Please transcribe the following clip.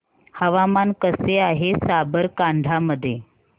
हवामान कसे आहे साबरकांठा मध्ये